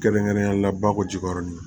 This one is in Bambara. Kɛrɛnkɛrɛnnenya la bakɔ jikɔrɔni